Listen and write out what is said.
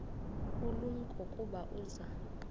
ulumko ukuba uza